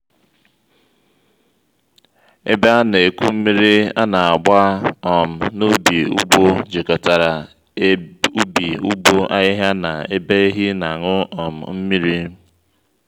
ebe ana-eku mmiri ana-agba um n'ubi/ugbo jikotárá ubi/ugbo ahịhịa na ebe ehi n'aṅụ um mmiri